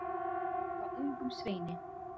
Ég vagga ungum sveini.